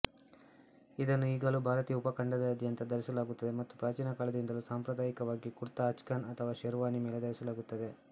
ಇದನ್ನು ಈಗಲೂ ಭಾರತೀಯ ಉಪಖಂಡದಾದ್ಯಂತ ಧರಿಸಲಾಗುತ್ತದೆ ಮತ್ತು ಪ್ರಾಚೀನ ಕಾಲದಿಂದಲೂ ಸಾಂಪ್ರದಾಯಿಕವಾಗಿ ಕುರ್ತಾ ಅಚ್ಕನ್ ಅಥವಾ ಶೇರ್ವಾನಿ ಮೇಲೆ ಧರಿಸಲಾಗುತ್ತದೆ